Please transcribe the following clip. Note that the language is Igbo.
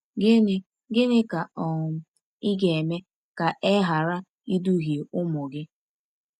Gịnị Gịnị ka um ị ga-eme ka e ghara iduhie ụmụ gị?